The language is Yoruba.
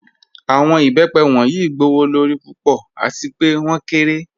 Awọn ibẹ́pẹ wọnyí gbowọ́lọ́rí púpọ̀ àti pẹ̀ wọn kẹ́rẹ̀.